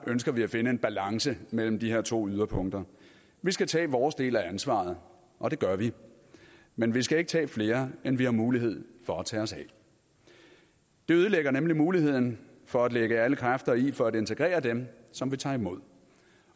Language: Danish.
ønsker vi at finde en balance mellem de her to yderpunkter vi skal tage vores del af ansvaret og det gør vi men vi skal ikke tage flere end vi har mulighed for at tage os af det ødelægger nemlig muligheden for at lægge alle kræfter i for at integrere dem som vi tager imod